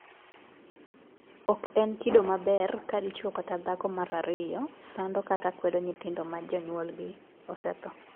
Ok en kido ber ka dichwo kata dhako mar ariyo sando kata kwedo nyithindo ma janyuolgi osethoo.